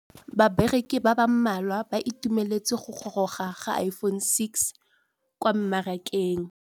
Bareki ba ba malwa ba ituemeletse go gôrôga ga Iphone6 kwa mmarakeng.